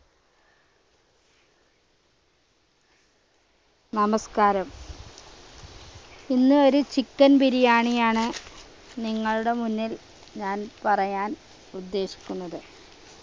നമസ്കാരം ഇന്ന് ഒരു chicken biriyani യാണ് നിങ്ങളുടെ മുന്നിൽ ഞാൻ പറയാൻ ഉദ്ദേശിക്കുന്നത്